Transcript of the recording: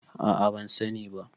a a ban sani ba